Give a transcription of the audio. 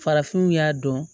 Farafinw y'a dɔn